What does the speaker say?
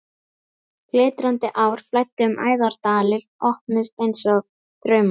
Glitrandi ár flæddu um æðar, dalir opnuðust einsog draumar.